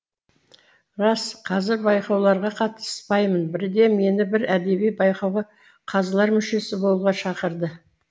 рас қазір байқауларға қатыспаймын бірде мені бір әдеби байқауға қазылар мүшесі болуға шақырды